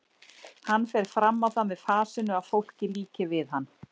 Hann fer fram á það með fasinu að fólki líki við hann.